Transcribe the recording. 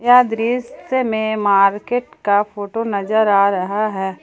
यह दृश्य में मार्केट का फोटो नजर आ रहा है।